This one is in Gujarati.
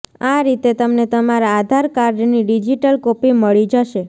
આ રીતે તમને તમારા આધાર કાર્ડની ડિજિટલ કોપી મળી જશે